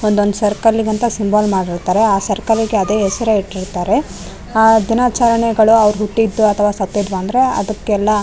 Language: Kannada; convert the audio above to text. ಒಂದೊಂದ್ ಸರ್ಕಲ್ ಗಂತ ಸಿಂಬಲ್ ಮಾಡಿರ್ತಾರೆ ಆ ಸರ್ಕಲ್ ಗೆ ಅದೆ ಹೆಸ್ರೆ ಇಟ್ಟಿರ್ತಾರೆ ಆಆ ದಿನಚರಣೆಗಳು ಅವ್ರು ಹುಟ್ಟಿದ್ ಅಥವ ಸತ್ತದ್ ಬಂದ್ರೆ ಅದಕ್ಕೆಲ್ಲ --